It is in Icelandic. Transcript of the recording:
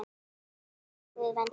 Megi góður Guð vernda þig.